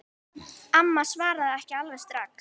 Amma svaraði ekki alveg strax.